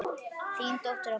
Þín dóttir, Ágústa.